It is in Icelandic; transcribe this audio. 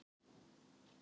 Þín, Eva Líf.